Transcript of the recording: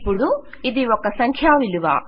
ఇపుడు ఇది ఒక సంఖ్యావిలువ